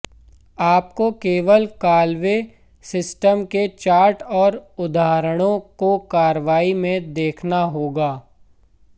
आपको केवल Callaway system के चार्ट और उदाहरणों को कार्रवाई में देखना होगा